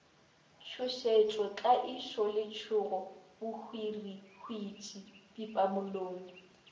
tšhošetšo tlaišo letšhogo bohwirihwitši pipamolomo